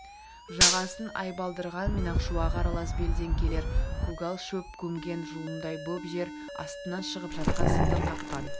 жағасын айбалдырған мен ақшуағы аралас белден келер көгал шөп көмген жұлындай боп жер астынан шығып жатқан сылдыр қаққан